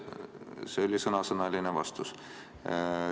See oli sõnasõnaline vastus.